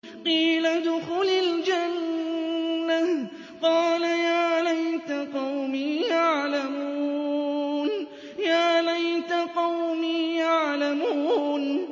قِيلَ ادْخُلِ الْجَنَّةَ ۖ قَالَ يَا لَيْتَ قَوْمِي يَعْلَمُونَ